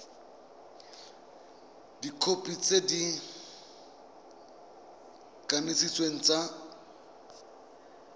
dikhopi tse di kanisitsweng tsa